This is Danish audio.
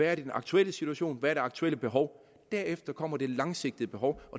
er den aktuelle situation og hvad det aktuelle behov derefter kommer det langsigtede behov